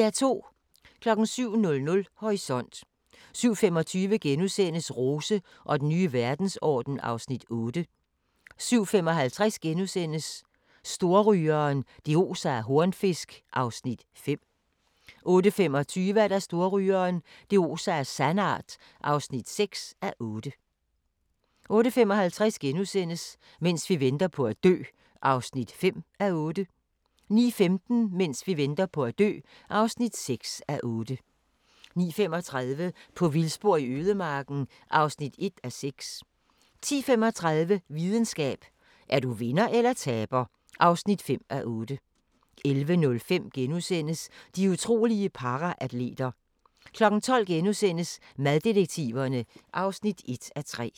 07:00: Horisont 07:25: Rose og den nye verdensorden (Afs. 8)* 07:55: Storrygeren – det oser af hornfisk (5:8)* 08:25: Storrygeren – det oser af sandart (6:8) 08:55: Mens vi venter på at dø (5:8)* 09:15: Mens vi venter på at dø (6:8) 09:35: På vildspor i ødemarken (1:6) 10:35: Videnskab: Er du vinder eller taber (5:8) 11:05: De utrolige paraatleter * 12:00: Maddetektiverne (1:3)*